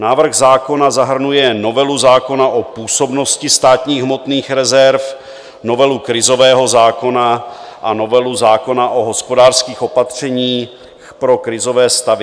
Návrh zákona zahrnuje novelu zákona o působnosti státních hmotných rezerv, novelu krizového zákona a novelu zákona o hospodářských opatřeních pro krizové stavy.